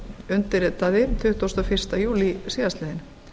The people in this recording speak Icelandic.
undirritaði tuttugasta og fyrsta júlí síðastliðinn